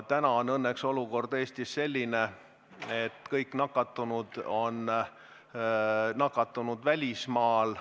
Täna on õnneks olukord Eestis selline, et kõik nakatunud on nakatunud välismaal.